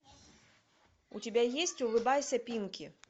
у тебя есть улыбайся пинки